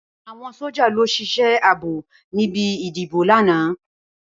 Awọn sójá ló ṣisẹ àábó nibi idibó làná